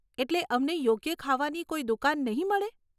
એટલે અમને યોગ્ય ખાવાની કોઈ દુકાન નહીં મળે?